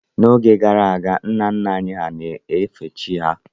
N'oge gara aga, nna nna anyị hà na-efe chi ha